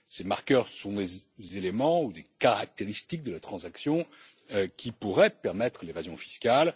Ces marqueurs sont des éléments ou des caractéristiques de la transaction qui pourraient permettre l'évasion fiscale.